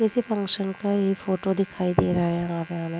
किसी फंक्शन का ये फोटो दिखाई दे रहा है यहां पे हमें।